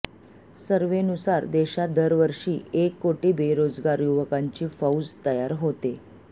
सर्व्हेनुसार देशात दरवर्षी एक कोटी बेरोजगार युवकांची फौज तयार होते